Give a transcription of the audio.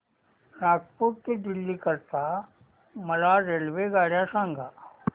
नागपुर ते दिल्ली करीता मला रेल्वेगाड्या सांगा